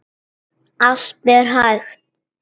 Allt er hægt!